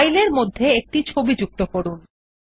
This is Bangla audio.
ফাইলের মধ্যে একটি ছবি যুক্ত করুন